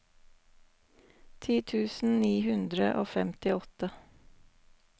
ti tusen ni hundre og femtiåtte